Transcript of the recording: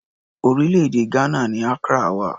Orílẹ̀-èdè Ghana ni Accra wà.